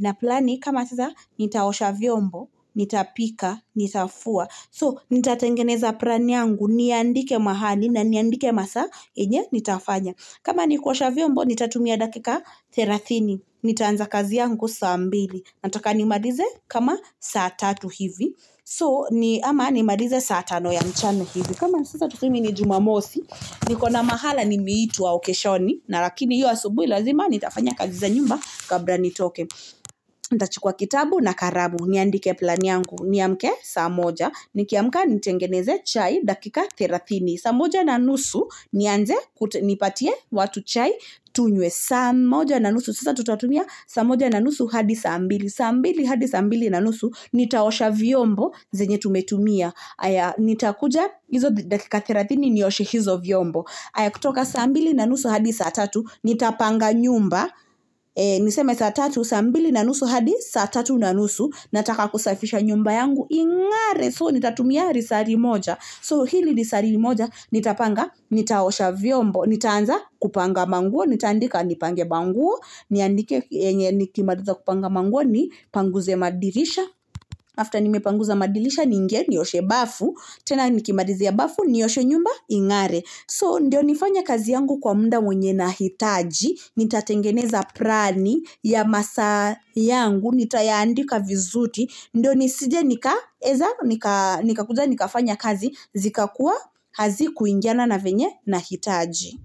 Naplani kama sasa, nitaosha vyombo, nitapika, nitafua. So, nitatengeneza plani yangu, niandike mahali, na niandike masaa yenye nitafanya. Kama nikuosha vyombo, nitatumia dakika thelatini. Nitaanza kazi yangu saa mbili. Nataka nimalize kama saa tatu hivi. So, ni, ama nimalize saa tano ya mchana hivi. Kama sasa tuseme ni Jumamosi. Niko na mahala nimeitwa okeshoni. Na lakini hiyo asubuhi lazima, nitafanya kazi za nyumba kabla nitoke. Nitachukua kitabu na kalamu. Niandike plani yangu. Niamke saa moja. Nikiamka nitengeneze chai dakika thelathini. Saa moja na nusu, nianze nipatie watu chai tunywe saa moja na nusu. Sasa tutatumia saa moja na nusu hadi saa mbili. Saa mbili, hadi saa mbili na nusu. Nitaosha vyombo zenye tumetumia. Nitakuja hizo dakika thelathini, nioshe hizo vyombo. Haya, kutoka saa mbili na nusu hadi saa tatu. Nitapanga nyumba. Niseme saa tatu, saa mbili na nusu hadi saa tatu na nusu. Nataka kusafisha nyumba yangu. Ingare, so, Nitatumia lisaa limoja. So, hili lisaa limoja. Nitapanga, nitaosha vyombo. Nitaanza kupanga manguo. Nitaandika nipange manguo. Niandike yenye nikimaliza kupanga manguo nipanguze madirisha. After nimepanguza madirisha, niingie nioshe bafu. Tena nikimalizia bafu nioshe nyumba ingare. So, ndio nifanye kazi yangu kwa muda mwenye nahitaji. Nitatengeneza plani ya masaa yangu. Nitayaandika vizuri. Ndio nisije nikaweza, nikakuja nikafanya kazi. Zikakuwa hazikuingiana na vyenye nahitaji.